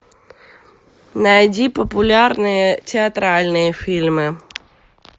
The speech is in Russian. найди популярные театральные фильмы